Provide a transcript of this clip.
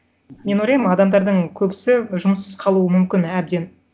мен ойлаймын адамдардың көбісі жұмыссыз қалуы мүмкін әбден